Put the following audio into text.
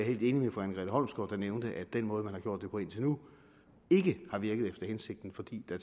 helt enig med fru anne grete holmsgaard der nævnte at den måde man har gjort det på indtil nu ikke har virket efter hensigten fordi der